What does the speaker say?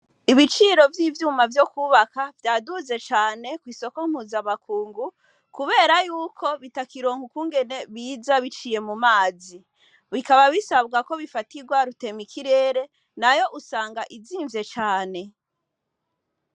Ibiciro vy'ivyuma vyo kubaka vyaduze cane kw'isoko mpuzamakungu kubera yuko bitakironka ukungene biza biciye mu mazi. Bikaba bisaba ko bifatirwa rutemikirere nayo usanga izimvye cane.